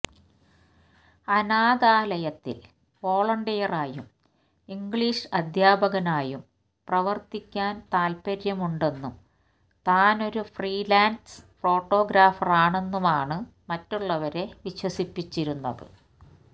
അനാഥാലയത്തിൽ വോളണ്ടിയറായും ഇംഗ്ലീഷ് അദ്ധ്യാപകനായും പ്രവർത്തിക്കാൻ താത്പര്യമുണ്ടെന്നും താനൊരു ഫ്രീലാൻസ് ഫോട്ടോഗ്രാഫറാണെന്നുമാണ് മറ്റുള്ളവരെ വിശ്വസിപ്പിച്ചിരുന്നത്